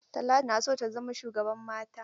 Talatu na so ta zama shugaban mata.